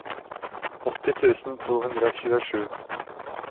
åtti tusen to hundre og tjuesju